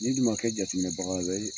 N'i dun ma kɛ jateminɛ bagala ye